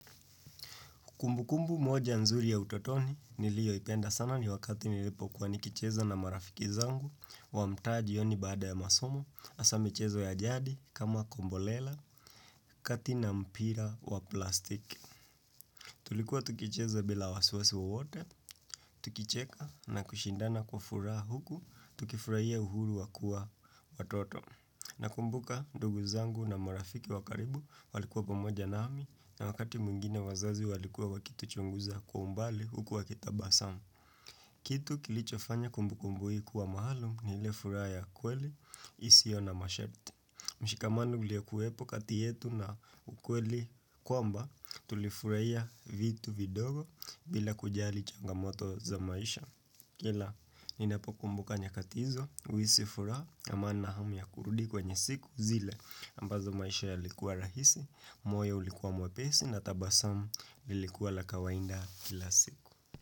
Kumbu kumbu moja nzuri ya utotoni nilio ipenda sana ni wakati nilipo kuwa nikicheza na marafiki zangu wa mtaa jioni baada ya masomo hasa michezo ya jadi kama kombolela kati na mpira wa plastiki. Tulikuwa tukicheza bila wasiwasi wowote, tukicheka na kushindana kwa furaha huku, tukifurahia uhuru wakua watoto. Nakumbuka ndugu zangu na marafiki wakaribu walikuwa pamoja nami na wakati mwingine wazazi walikuwa wakitu chunguza kwa umbali huku wakitabasamu. Kitu kilicho fanya kumbu kumbu hii kuwa maalum ni ile furaha ya kweli, isio na mashati. Mshikamano uliyekuwepo kati yetu na ukweli kwamba tulifurahia vitu vidogo bila kujali changamoto za maisha. Kila, ni napokumbuka nyakati hizo, huhisi furaha, ama nina hamu ya kurudi kwenye siku zile ambazo maisha yalikuwa rahisi, moyo ulikuwa mwepesi na tabasamu lilikuwa la kawainda kila siku.